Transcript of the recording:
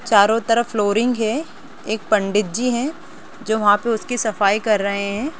चारों तरफ फ्लोरिंग है एक पंडित जी हैं जो वहाँ पे उसकी सफाई कर रहें हैं।